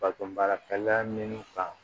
Bato baara kalaya min kan